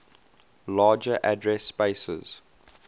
larger address spaces